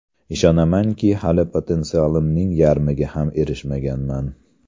Ishonamanki, hali potensialimning yarmiga ham erishmaganman.